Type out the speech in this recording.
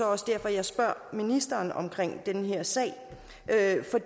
også derfor jeg spørger ministeren om den her sag altså